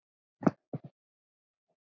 Þinn vinur.